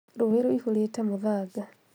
Rũĩ rũihũrĩte mũthanga